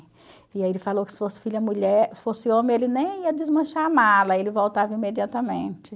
E aí ele falou que se fosse filha mulher fosse homem, ele nem ia desmanchar a mala, ele voltava imediatamente.